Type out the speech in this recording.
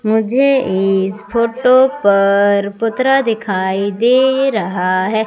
मुझे इस फोटो पर पुतरा दिखाई दे रहा है।